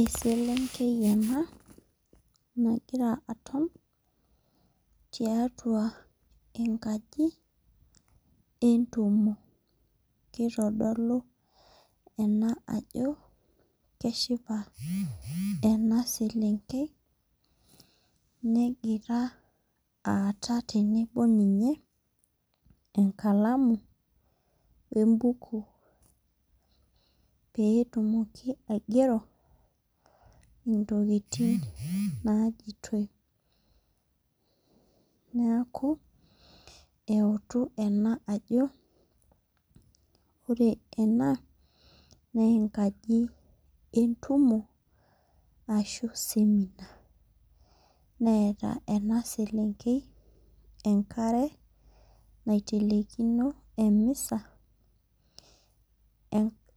Eselenkei ena nagira aton tiatua enkaji entumo. Kitodolu ena ajo keshipa ena selenkei negira aata tenebo ninye enkalamu wee buku pee tumoki aigero intokitin naijitoi. Neeku eutu ena ajo ore ena naa enkaji entumu ashu seminar. Neeta ena selenkei enkare naitelekino emisa